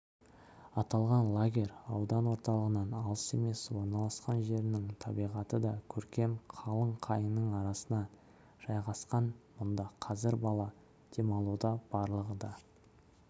аталған лагерь аудан орталығынан алыс емес орналасқан жерінің табиғаты да көркем қалың қайыңның арасына жайғасқан мұнда қазір бала демалуда барлығы да